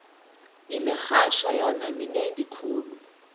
imirharho yona minengi khulu